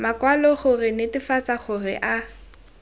makwalo go netefatsa gore a